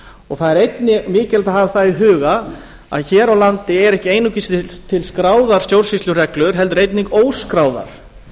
er einnig mikilvægt að hafa það í huga að hér á landi eru ekki einungis til skráðar stjórnsýslureglur heldur einnig óskráðar